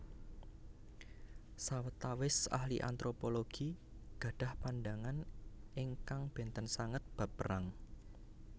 Sawetawis Ahli Antropologi gadhah pandhangan ingkang bènten sanget bab perang